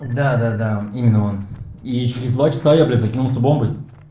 да да да именно он и через два часа я блять закинулся бомбой